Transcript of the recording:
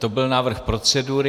To byl návrh procedury.